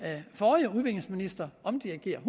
forrige udviklingsminister omdirigere